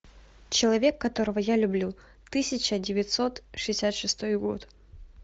человек которого я люблю тысяча девятьсот шестьдесят шестой год